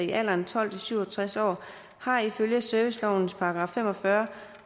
i alderen tolv til syv og tres år har ifølge servicelovens § fem og fyrre